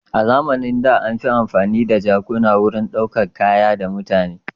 A zamanin da an fi amfani da jakuna wurin ɗaukar kaya da mutane.